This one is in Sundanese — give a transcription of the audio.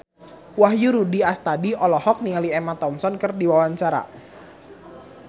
Wahyu Rudi Astadi olohok ningali Emma Thompson keur diwawancara